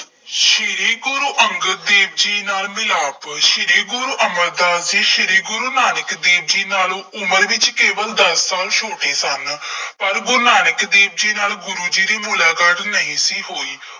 ਸ਼੍ਰੀ ਗੁਰੂ ਅੰਗਦ ਦੇਵ ਜੀ ਨਾਲ ਮਿਲਾਪ, ਸ਼੍ਰੀ ਗੁਰੂ ਅਮਰਦਾਸ ਜੀ, ਸ਼੍ਰੀ ਗੁਰੂ ਨਾਨਕ ਦੇਵ ਜੀ ਨਾਲੋਂ ਉਮਰ ਵਿੱਚ ਕੇਵਲ ਦਸ ਸਾਲ ਛੋਟੇ ਸਨ। ਪਰ ਗੁਰੂ ਨਾਨਕ ਦੇਵ ਜੀ ਨਾਲ, ਗੁਰੂ ਜੀ ਦੀ ਮੁਲਾਕਾਤ ਨਹੀਂ ਸੀ ਹੋਈ।